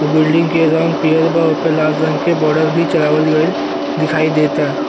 उ बिल्डंग के रंग पियर बा ओपे लाल रंग के बॉर्डर भी चढ़ावल गइल दिखाई देता।